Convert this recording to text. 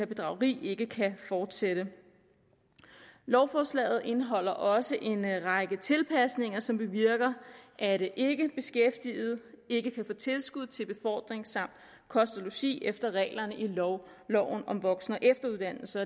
bedrageri ikke kan fortsætte lovforslaget indeholder også en række tilpasninger som bevirker at ikkebeskæftigede ikke kan få tilskud til befordring samt kost og logi efter reglerne i loven loven om voksen og efteruddannelse